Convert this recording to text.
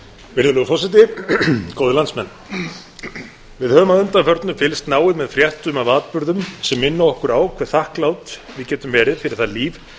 virðulegur forseti góðir landsmenn við höfum að undanförnu fylgst náið með fréttum af atburðum sem minna okkur á hve þakklát við getum verið fyrir það líf